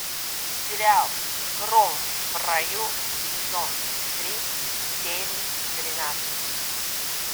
сериал гром в раю сезон три серия тринадцать